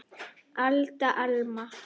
Alda, Alma.